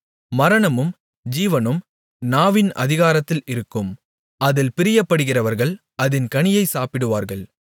மரணமும் ஜீவனும் நாவின் அதிகாரத்தில் இருக்கும் அதில் பிரியப்படுகிறவர்கள் அதின் கனியைச் சாப்பிடுவார்கள்